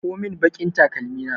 Ɗauko mun baƙin takalmi na!